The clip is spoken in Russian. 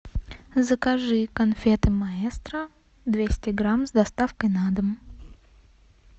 закажи конфеты маэстро двести грамм с доставкой на дом